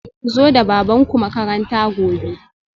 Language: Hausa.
Ku zo da babanku makaranta gobe